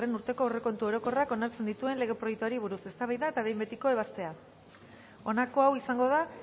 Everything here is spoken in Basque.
urteko aurrekontu orokorrak onartzen dituen lege proiektuari buruz eztabaida eta behin betiko ebazpena honako hau izango da